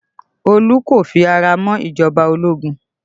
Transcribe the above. Olu kò fi ara mọ́ ìjọba ológun